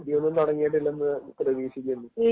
അടിയൊന്നും തുടങ്ങിയിട്ടില്ലെന്ന് പ്രതീക്ഷിക്കുന്നു.